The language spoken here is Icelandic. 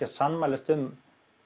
að sammælast um